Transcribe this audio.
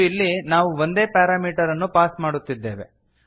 ಮತ್ತು ಇಲ್ಲಿ ನಾವು ಒಂದೇ ಪಾರಾಮೀಟರ್ ಅನ್ನು ಪಾಸ್ ಮಾಡುತ್ತಿದ್ದೇವೆ